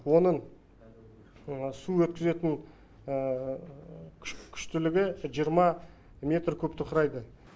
оның су өткізетін күштілігі жиырма метр кубті құрайды